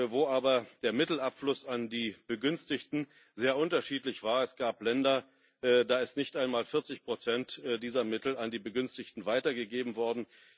wo aber der Mittelabfluss an die Begünstigten sehr unterschiedlich war. Es gab Länder, da sind nicht einmal 40 dieser Mittel an die Begünstigten weitergegeben worden.